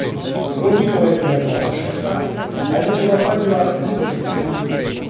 Brodnikova je bila na koncu šesta, Ajlečeva pa je bila diskvalificirana.